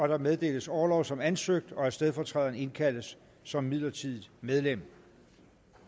der meddeles orlov som ansøgt og at stedfortræderen indkaldes som midlertidigt medlem